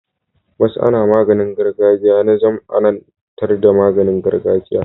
MasAna maganin gargajiya na zamAnan tar da maganin gargajiyar